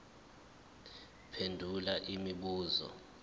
phendula imibuzo emihlanu